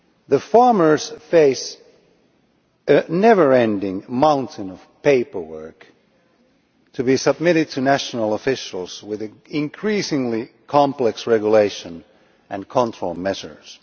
The farmers face a never ending mountain of paperwork which has to be submitted to national officials, with increasingly complex regulations and control measures.